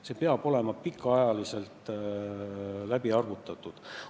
See peab olema pikaks ajaks ette läbi arvutatud.